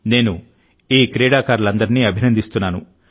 నేను ఈ క్రీడాకారులందరినీ అభినందిస్తున్నాను